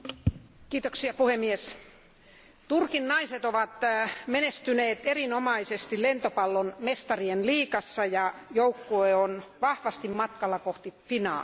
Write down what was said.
Arvoisa puhemies, Turkin naiset ovat menestyneet erinomaisesti lentopallon mestarien liigassa, ja joukkue on vahvasti matkalla kohti finaalia.